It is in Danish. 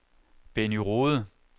Benny Rohde